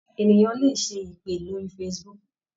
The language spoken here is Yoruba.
Ènìyàn le ṣe ìpè lórí Facebook.